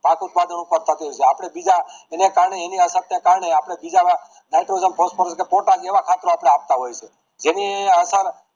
આપડે બીજા એના કારણે એની અસર ના કારણે અપડે બીજા નાઇટ્રોજન ફોસ્ફરસ પોટાશ એવા ખાતર આપડે અપાતા હોઈએ છીએ જેની અસર